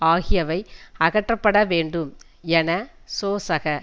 ஆகியவை அகற்றப்பட வேண்டும் என சோசக